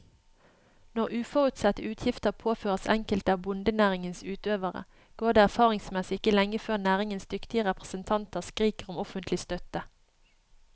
Når uforutsette utgifter påføres enkelte av bondenæringens utøvere, går det erfaringsmessig ikke lenge før næringens dyktige representanter skriker om offentlig støtte.